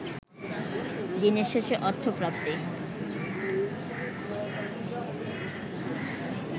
দিনের শেষে অর্থপ্রাপ্তি